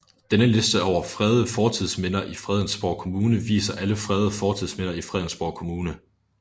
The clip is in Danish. Denne liste over fredede fortidsminder i Fredensborg Kommune viser alle fredede fortidsminder i Fredensborg Kommune